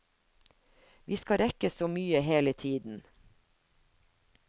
Vi skal rekke så mye hele tiden.